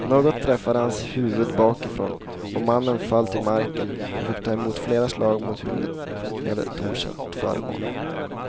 Något träffade hans huvud bakifrån och mannen föll till marken och fick ta emot flera slag mot huvudet med ett okänt föremål.